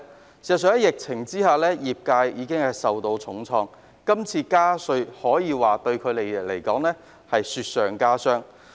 事實上，在疫情下業界已受到重創，這次加稅對他們而言可謂雪上加霜。